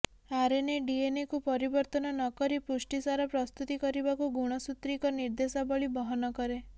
RNA ଡିଏନ୍ଏକୁ ପରିବର୍ତ୍ତନ ନ କରି ପୁଷ୍ଟିସାର ପ୍ରସ୍ତୁତି କରିବାକୁ ଗୁଣସୂତ୍ରିକ ନିର୍ଦେଶାବଳୀ ବହନ କରେ